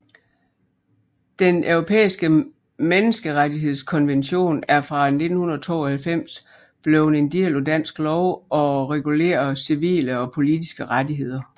Den Europæiske Menneskerettighedskonvention er fra 1992 blevet en del af dansk lov og regulerer civile og politiske rettigheder